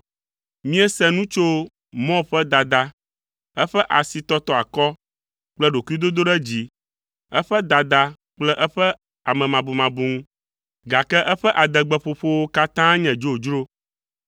Míese nu tso Moab ƒe dada, eƒe asitɔtɔ akɔ kple ɖokuidodoɖedzi, eƒe dada kple eƒe amemabumabu ŋu, gake eƒe adegbeƒoƒowo katã nye dzodzro,